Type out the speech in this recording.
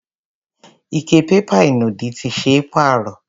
Ike pépà ìnùdí ti ṣe é pàrọ̀.